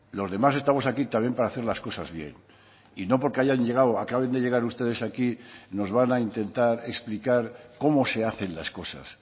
los demás estamos aquí también para hacer las cosas bien y no porque hayan llegado o acaben de llegar ustedes aquí nos van a intentar explicar cómo se hacen las cosas